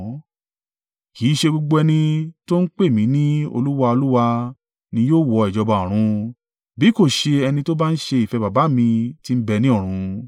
“Kì í ṣe gbogbo ẹni tó ń pè mí ní, ‘Olúwa, Olúwa,’ ni yóò wọ ìjọba ọ̀run, bí kò ṣe ẹni tó bá ń ṣe ìfẹ́ baba mi tí ń bẹ ní ọ̀run.